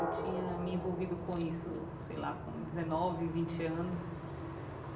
Eu tinha me envolvido com isso, sei lá, com dezenove, vinte anos.